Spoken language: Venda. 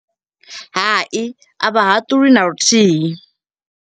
Hai, a vha haṱuli na luthihi.